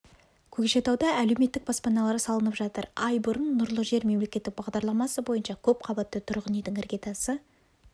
көкшетауда әлеуметтік баспаналар салынып жатыр ай бұрын нұрлы жер мемлекеттік бағдарламасы бойынша көпқабатты тұрғын үйдің іргетасы